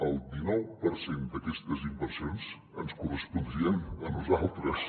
el dinou per cent d’aquestes inversions ens correspondrien a nosaltres